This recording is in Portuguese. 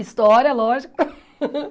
História, lógico.